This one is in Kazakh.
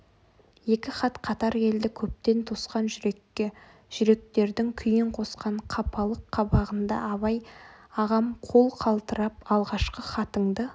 екі хат қатар келді көптен тосқан жүрекке жүректердің күйін қосқан қапалық қабағында абай ағам қол қалтырап алғашқы хатыңды